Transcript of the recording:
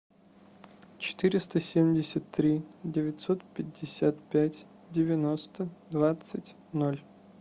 четыреста семьдесят три девятьсот пятьдесят пять девяносто двадцать ноль